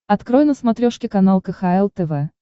открой на смотрешке канал кхл тв